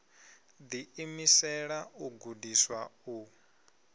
ḓi imisela u gudiswa u